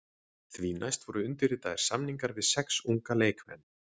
Því næst voru undirritaðir samningar við sex unga leikmenn.